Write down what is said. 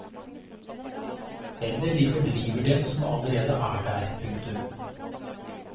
Eller de fordriver dem som allerede er der. punktum